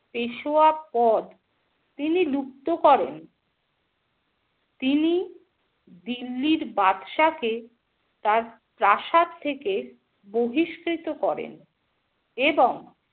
পেশোয়া পদ তিনি লুপ্ত করেন । তিনি দিল্লির বাদশা কে তার প্রাসাদ থেকে বহিস্কৃত করেন এবং